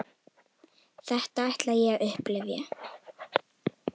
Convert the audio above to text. Þetta ætlaði ég að upplifa.